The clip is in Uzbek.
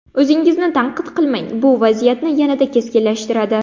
O‘zingizni tanqid qilmang, bu vaziyatni yanada keskinlashtiradi.